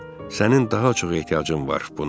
Sənin daha çox ehtiyacın var buna.